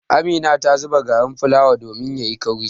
Amina ta zuba garin fulawa domin ya yi kauri.